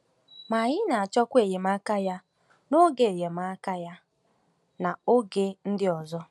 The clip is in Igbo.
Ma anyị na-achọkwa enyemaka ya n’oge enyemaka ya n’oge ndị ọzọ.